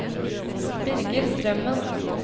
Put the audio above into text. Birger Strømmen